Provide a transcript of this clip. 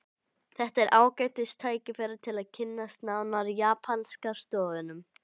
Þetta er ágætis tækifæri til að kynnast nánar japanska stofninum